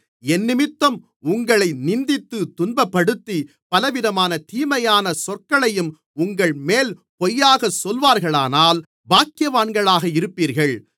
என்னிமித்தம் உங்களை நிந்தித்துத் துன்பப்படுத்தி பலவிதமான தீமையான சொற்களையும் உங்கள்மேல் பொய்யாகச் சொல்வார்களானால் பாக்கியவான்களாக இருப்பீர்கள்